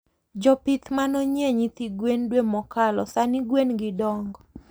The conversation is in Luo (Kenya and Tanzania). Jopith manonyie nyithi gwen dwe mokalo sani gwengi dongo